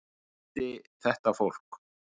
Ég valdi þetta fólk.